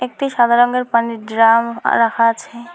একটি সাদা রঙের পানির ড্রাম আ রাখা আছে।